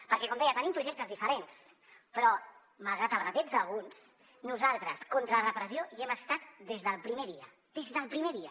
perquè com deia tenim projectes diferents però malgrat el retrets d’alguns nosaltres contra la repressió hi hem estat des del primer dia des del primer dia